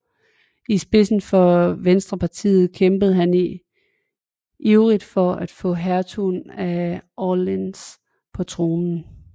I spidsen for Venstrepartiet kæmpede han ivrigt for at få hertugen af Orléans på tronen